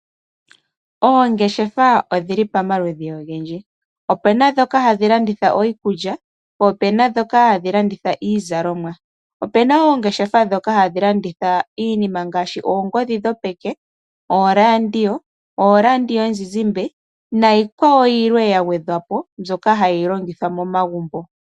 Oongeshefa odhili pamaludhi ogendji. Opena ndhoka hadhi landitha iikulya po opena ndhoka hadhi landitha iizalomwa. Opena wo oongeshefa ndhoka hadhi landitha iinima ngaashi, oongodhi dhopeke, ooRadio, ooRadio yomuzizimbe nayi kwawo yilwe yagwedhwa po mbyoka hayi longithwa momagumbo.